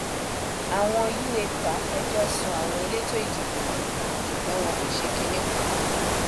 àwọn u epa fẹjọ sun àwọn elétò ìdìbò yìí ṣùgbọn wọn kò ṣe kinní kan